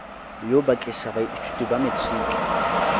yo bakiša baithuti ba matriki